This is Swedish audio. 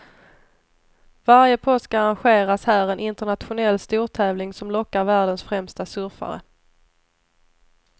Varje påsk arrangeras här en internationell stortävling som lockar världens främsta surfare.